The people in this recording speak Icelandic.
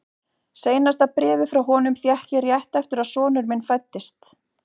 Síðasta bréfið frá honum fékk ég rétt eftir að sonur minn fæddist.